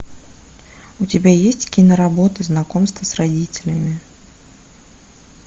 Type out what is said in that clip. у тебя есть киноработа знакомство с родителями